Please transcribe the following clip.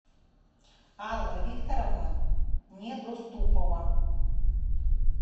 алла викторовна недоступова